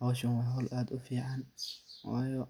Howshan waa xol aad ufican ,wayo